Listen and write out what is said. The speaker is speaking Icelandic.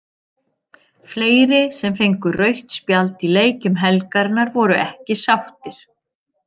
Fleiri sem fengu rautt spjald í leikjum helgarinnar voru ekki sáttir.